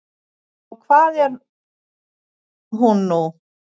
En hvað er hún nú?